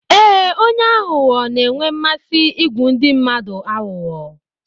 Ee, onye aghụghọ na-enwe mmasị igwu ndị mmadụ aghụghọ.